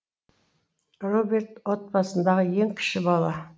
роберт отбасындағы ең кіші бала